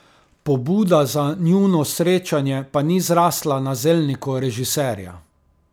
Pobuda za njuno srečanje pa ni zrasla na zelniku režiserja.